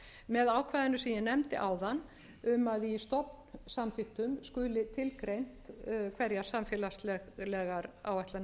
með ákvæðinu sem ég nefndi áðan um að í stofnsamþykktum skuli tilgreint hverjar samfélagslegar áætlanir eða skyldur sparisjóðanna séu það